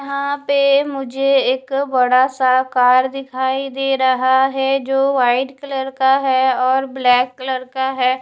यहाँ पे मुझे एक बड़ा सा कार दिखाई दे रहा है जो वाइट कलर का है और ब्लैक कलर का है।